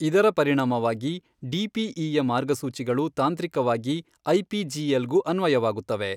ಇದರ ಪರಿಣಾಮವಾಗಿ, ಡಿಪಿಇಯ ಮಾರ್ಗಸೂಚಿಗಳು ತಾಂತ್ರಿಕವಾಗಿ ಐಪಿಜಿಎಲ್ ಗೂ ಅನ್ವಯವಾಗುತ್ತವೆ.